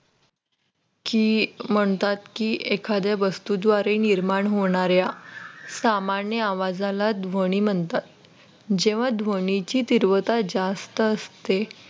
ती म्हणतात की एखाद्या वस्तूद्वारे निर्माण होणाऱ्या सामान्य आवाजाला ध्वनी म्हणतात जेव्हा ध्वनीची तीव्रता जास्त असते.